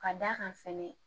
Ka d'a kan fɛnɛ